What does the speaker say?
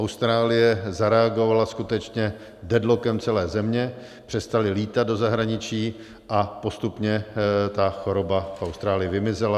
Austrálie zareagovala skutečně deadlockem celé země, přestali lítat do zahraničí a postupně ta choroba v Austrálii vymizela.